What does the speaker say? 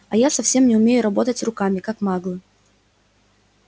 а я совсем не умею работать руками как маглы